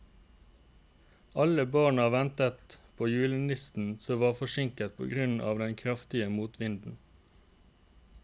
Alle barna ventet på julenissen, som var forsinket på grunn av den kraftige motvinden.